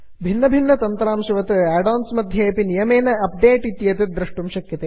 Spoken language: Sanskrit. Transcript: भिन्नभिन्नतन्त्रांशवत् आड् आन्स् मध्ये अपि नियमेन अप्डेट् इत्येतत् द्रष्टुं शक्यते